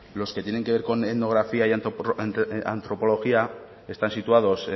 los que tienen que ver con etnografía y antropología están situados